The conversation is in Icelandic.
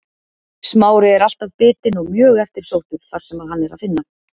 Smári er alltaf bitinn og mjög eftirsóttur þar sem hann er að finna.